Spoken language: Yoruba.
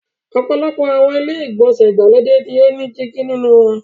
Ọ̀pọ̀lọpọ̀ àwọn ilé-ìgbọ̀nsẹ̀ ìgbàlódé ni wọ́n ní dígí nínú wọn.